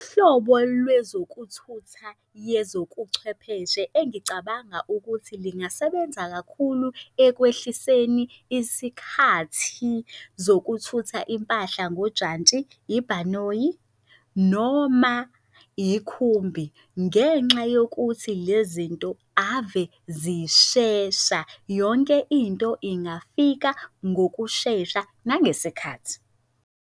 Uhlobo lwezokuthutha yezokuchwepheshe engicabanga ukuthi lingasebenza kakhulu ekwehliseni isikhathi zokuthutha impahla ngojantshi, ibhanoyi, noma yikhumbi. Ngenxa yokuthi le zinto ave zishesha yonke into ingafika ngokushesha nangesikhathi.